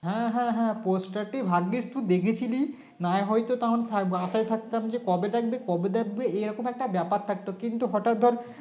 হ্যাঁ হ্যাঁ হ্যাঁ Poaster টি ভাগ্গিস তুই দেখেছিলি নাহয় তো তখন আশায় থাকতাম যে কবে ডাকবে কবে ডাকবে এরকম একটা ব্যাপার থাকতো কিন্তু হঠাৎ ধরে